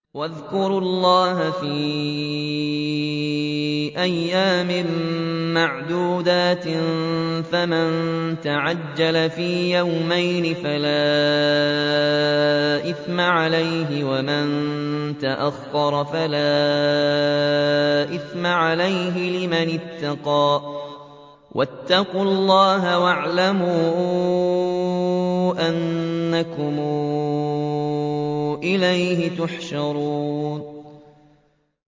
۞ وَاذْكُرُوا اللَّهَ فِي أَيَّامٍ مَّعْدُودَاتٍ ۚ فَمَن تَعَجَّلَ فِي يَوْمَيْنِ فَلَا إِثْمَ عَلَيْهِ وَمَن تَأَخَّرَ فَلَا إِثْمَ عَلَيْهِ ۚ لِمَنِ اتَّقَىٰ ۗ وَاتَّقُوا اللَّهَ وَاعْلَمُوا أَنَّكُمْ إِلَيْهِ تُحْشَرُونَ